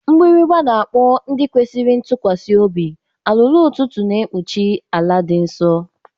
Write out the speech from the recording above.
Mgbịrịgba, na-akpọ ndị kwesịrị ntụkwasị obi, alụlụụ ụtụtụ na-ekpuchi ala dị nsọ.